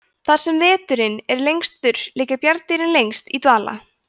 þar sem veturinn er lengstur liggja bjarndýrin lengst í dvala